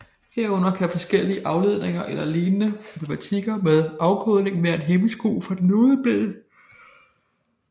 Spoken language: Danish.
Herunder kan forskellige afledte eller lignende problematikker med afkodningen være en hæmsko for den nodeblinde